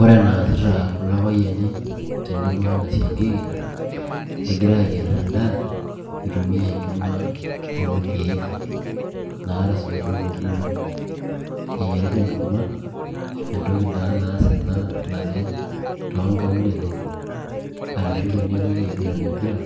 ore enaasita kulo payiani enebo wena siankiki, egira aayier edaa eitumia enkima orkek naata oitok okuni. eyiarita enkurma, entoki naa ena naasa leng too nkaulele arashu tenepuoi aiguran empira